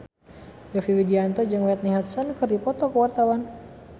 Yovie Widianto jeung Whitney Houston keur dipoto ku wartawan